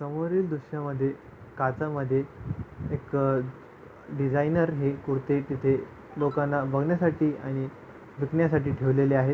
समोरील दृशा मध्ये काचमध्ये एक अ डीसायनर हे कुर्ते तिथे लोकाना बघण्यासाठी आणि विकण्यासाठी ठेवलेले आहे.